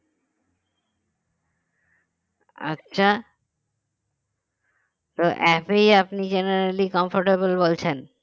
আচ্ছা তো app এই আপনি generally comfortable বলছেন